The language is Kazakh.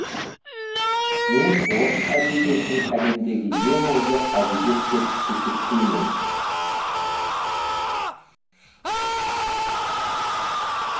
мен орыс әдебиетін әлемдегі ең озық әдебиет деп есептеймін